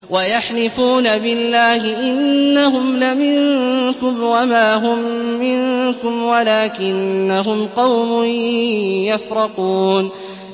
وَيَحْلِفُونَ بِاللَّهِ إِنَّهُمْ لَمِنكُمْ وَمَا هُم مِّنكُمْ وَلَٰكِنَّهُمْ قَوْمٌ يَفْرَقُونَ